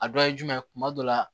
A dɔ ye jumɛn kuma dɔ la